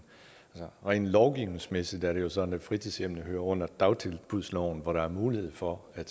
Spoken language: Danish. rent lovgivningsmæssigt er det jo sådan at fritidshjem hører under dagtilbudsloven hvor der er mulighed for at